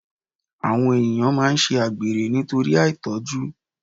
Àwọn ènìyàn máa ń ṣe àgbèrè nítorí àìtọ́jú